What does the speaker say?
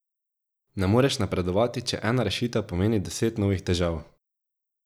Ne moreš napredovati, če ena rešitev pomeni deset novih težav.